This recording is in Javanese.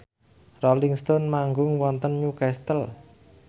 Rolling Stone manggung wonten Newcastle